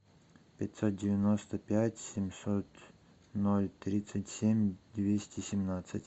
пятьсот девяносто пять семьсот ноль тридцать семь двести семнадцать